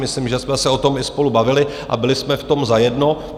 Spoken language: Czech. Myslím, že jsme se o tom i spolu bavili a byli jsme v tom zajedno.